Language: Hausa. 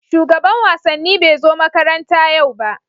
shugaban wasannin bai zo makaranta yau ba.